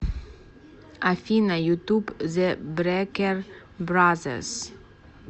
афина ютуб зе брекер бразерс